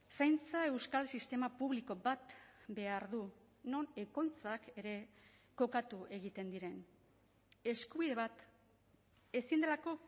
zaintza euskal sistema publiko bat behar du non ekoitzak ere kokatu egiten diren eskubide bat ezin delako